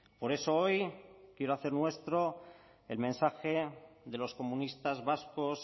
por eso hoy quiero hacer nuestro el mensaje de los comunistas vascos